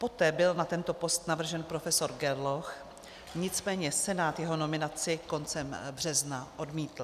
Poté byl na tento post navržen profesor Gerloch, nicméně Senát jeho nominaci koncem března odmítl.